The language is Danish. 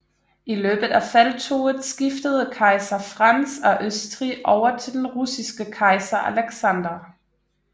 I løbet af felttoget skiftede kejser Frans af Østrig over til den russiske kejser Alexander